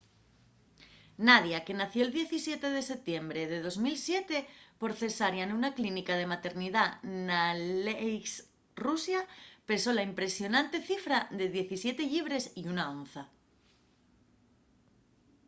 nadia que nació'l 17 de setiembre de 2007 por cesárea nuna clínica de maternidá n'aleisk rusia pesó la impresionante cifra de 17 llibres y 1 onza